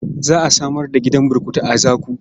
Za a samar da gidan burkutu a Zaku.